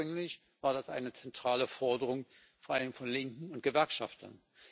Ursprünglich war das eine zentrale Forderung vor allem von Linken und Gewerkschaftern.